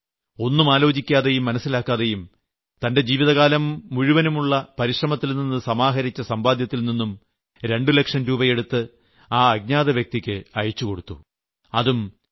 ഈ മാന്യദ്ദേഹം ഒന്നുമാലോചിക്കാതെയും മനസ്സിലാക്കാതെയും തന്റെ ജീവിതകാലം മുഴുവനും ഉളള പരിശ്രമത്തിൽ നിന്ന് സമാഹരിച്ച സമ്പാദ്യത്തിൽ നിന്നും 2 ലക്ഷം രൂപയെടുത്ത് ആ അജ്ഞാത വ്യക്തിയ്ക്ക് അയച്ചു കൊടുത്തു